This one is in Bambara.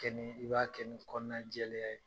kɛ ni i b'a kɛ nin kɔnɔna jɛya ye.